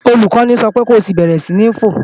Olùkọ́ni sọ pé ko bẹ̀rẹ̀ sí ń fò!